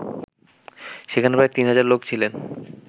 সেখানে প্রায় ৩০০০ লোক ছিলেন